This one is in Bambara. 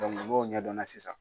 n'o ɲɛdɔnna sisan.